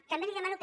també li demano